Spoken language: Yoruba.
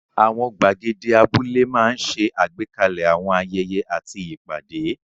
Àwọn gbàgede abúlé máa ń ṣe àgbékalẹ̀ àwọn ayẹyẹ àti ìpàdé.